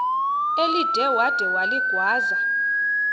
elide wada waligwaza